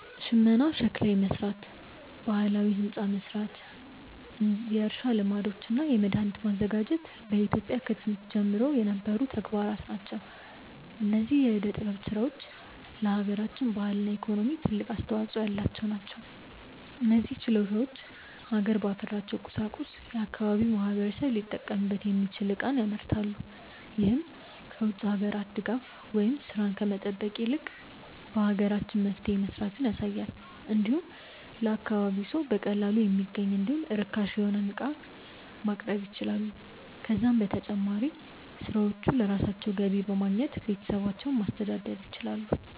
ሽመና፣ ሸክላ መስራት፣ ባህላዊ ህንፃ መስራት፣ የእርሻ ልማዶች እና መድሃኒት ማዘጋጀት በኢትዮጵያ ከጥንት ዘመን ጀምሮ የነበሩ ተግባራት ናቸው። እነዚህ የዕደ ጥበብ ስራዎች ለሃገራችን ባህልና ኢኮኖሚ ትልቅ አስተዋጾ ያላቸው ናቸው። እነዚህ ችሎታዎች ሀገር ባፈራቸው ቁሳቁሶች የአካባቢው ማህበረሰብ ሊጠቀምበት የሚችል ዕቃን ያመርታሉ። ይህም ከ ውጭ ሀገራት ድጋፍን ወይም ስራን ከመጠበቅ ይልቅ በሀገራችን መፍትሄ መስራትን ያሳያል። እንዲሁም ለአካባቢው ሰው በቀላሉ የሚገኝ እንዲሁም ርካሽ የሆነ ዕቃንም ማቅረብ ይችላሉ። ከዛም በተጨማሪ ሰሪዎቹ ለራሳቸው ገቢ በማግኘት ቤተሰባቸውን ማስተዳደር ይችላሉ።